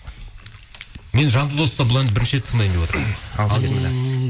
мен жанды дауыста бұл әнді бірінші рет тыңдайын деп отырмын ал біссіміллә